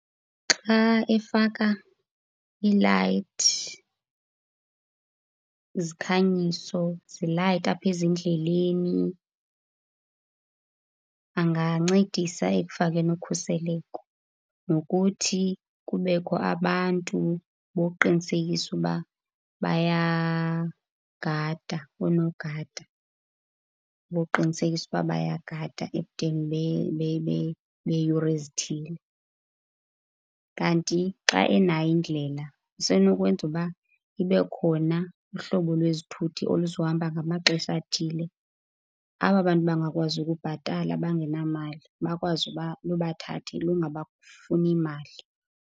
Xa efaka iilayithi, izikhanyiso, zilayite apha ezindleleni angancedisa ekufakeni ukhuseleko. Nokuthi kubekho abantu bokuqinisekisa ukuba bayagada, oonogada bokuqinisekisa ukuba bayagada ebudeni beeyure ezithile. Kanti xa enayo indlela usenokwenza ukuba ibe khona uhlobo lwezithuthi oluzohamba ngamaxesha athile. Aba bantu bangakwazi ukubhatala, bangenamali, bakwazi ukuba lubathathe lungabafuni mali.